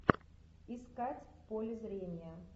искать в поле зрения